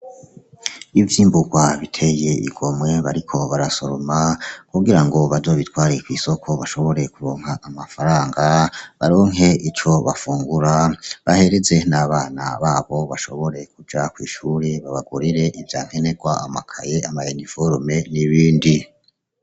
Ivyimburwa biteye igomwe bariko barasoroma kugira ngo bazobitware kw'isoko bashobore kuronka amafaranga baronke ico bafungura bahereze n'abana babo bashobore kuja kw'ishure babagurire ivya nkenerwa amakaye ama uniforme n'ibindi.